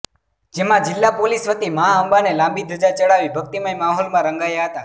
જેમાં જીલ્લા પોલીસ વતી માં અંબાને લાંબી ધજા ચડાવી ભક્તિમય માહોલમાં રંગાયા હતા